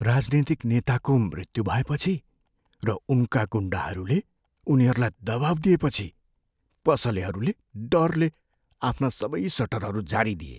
राजनीतिक नेताको मृत्यु भएपछि र उनका गुन्डाहरूले उनीहरूलाई दबाउ दिएपछि पसलेहरूले डरले आफ्ना सबै सटरहरू झारिदिए।